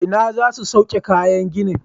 Ina za su sauke kayan ginin?